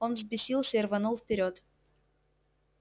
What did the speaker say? он взбесился и рванул вперёд